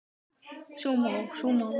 Frábært afrek hjá henni.